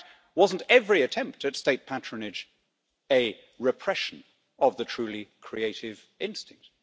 In fact, wasn't every attempt at state patronage a repression of the truly creative instinct?